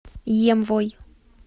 емвой